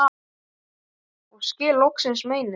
og skil loksins meinið